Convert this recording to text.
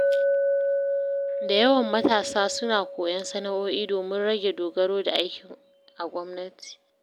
Da yawan matasa suna koyon sana’o’i domin rage dogaro da aiki a gwamnati.